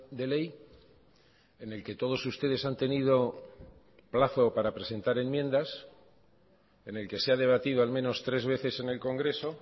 de ley en el que todos ustedes han tenido plazo para presentar enmiendas en el que se ha debatido al menos tres veces en el congreso